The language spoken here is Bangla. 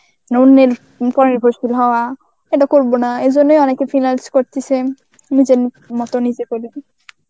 অন্যের পরনির্ভরশীল হওয়া, এটা করবো না. এই জন্যই অনেকে finance করতেছেন. নিজের মতো নিজে করে দি.